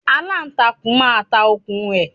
Aláǹtakùn máa ta okùn rẹ̀